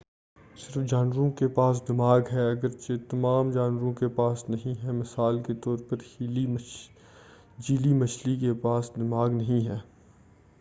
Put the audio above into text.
صرف جانوروں کے پاس دماغ ہے گرچہ تمام جانوروں کے پاس نہیں ہے؛ مثال کے طور پر جیلی مچھلی کے پاس دماغ نہیں ہے۔